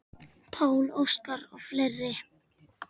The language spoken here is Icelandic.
Pál Óskar og fleiri.